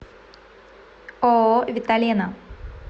ооо виталена